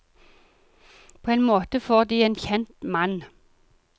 På en måte får de en kjent mann.